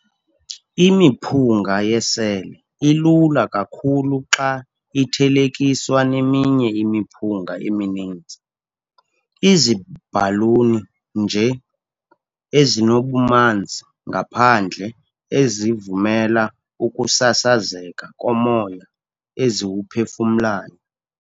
Imiphunga yesele ilula kakhulu xa ithelekiswa neminye imiphunga emininzi, iziibhaluni nje, ezinobumanzi ngaphandle ezivumela ukusasazeka komoya eziwuphefumlayo.